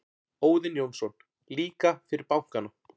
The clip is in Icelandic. Óðinn Jónsson: Líka fyrir bankana.